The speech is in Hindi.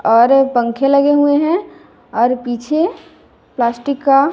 और पंखे लगे हुए हैं और पीछे प्लास्टिक का--